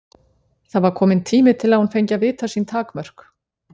Það var kominn tími til að hún fengi að vita sín takmörk.